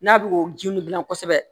N'a bɛ o ji ninnu dilan kosɛbɛ